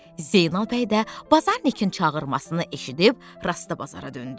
Zeynəb bəy də bazarnikin çağırmasını eşidib rastabazara döndü.